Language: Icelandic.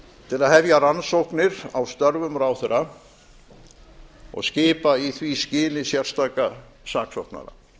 til að hefja rannsóknir á störfum ráðherra og skipa í því skyni sérstaka saksóknara